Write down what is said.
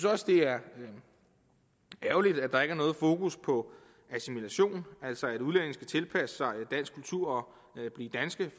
også det er ærgerligt at der ikke er noget fokus på assimilation altså det at udlændinge skal tilpasse sig dansk kultur og blive danske